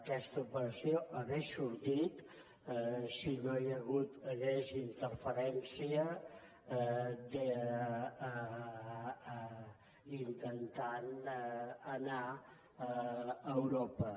aquesta operació hauria sortit si no hi hagués hagut interferència intentant anar a europa